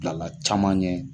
Bilala caman ɲɛ